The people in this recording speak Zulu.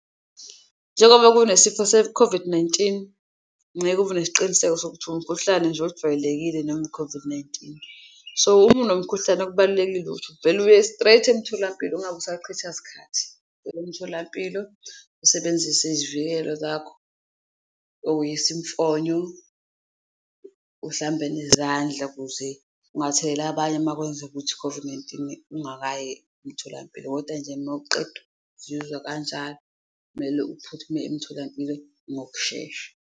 Njengoba kunesifo se-COVID-19, ngeke ube nesiqiniseko sokuthi umkhuhlane nje ojwayelekile noma i-COVID-19, so uma unomkhuhlane kubalulekile ukuthi uvele uye straight emtholampilo, ungabe usachitha sikhathi. Emtholampilo usebenzise izivikelo zakho okuyisimfonyo, uhlambe nezandla kuze ungatheleli abanye makwenzeka ukuthi i-COVID-19 ungakayi emtholampilo, koda nje mawuqeda uzizwa kanjalo kumele uphuthume emtholampilo ngokushesha.